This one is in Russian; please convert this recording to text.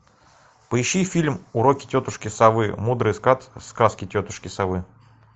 поищи фильм уроки тетушки совы мудрые сказки тетушки совы